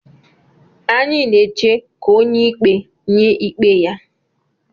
Anyị na-eche ka onye ikpe nye ikpe ya.